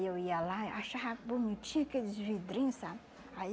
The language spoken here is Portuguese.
Eu ia lá e achava bonitinho aqueles vidrinho, sabe? Aí